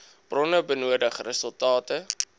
bronne benodig resultate